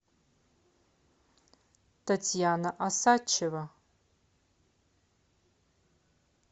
татьяна осадчева